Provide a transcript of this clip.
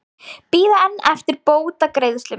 Bíða enn eftir bótagreiðslum